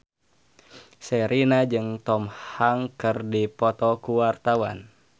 Sherina jeung Tom Hanks keur dipoto ku wartawan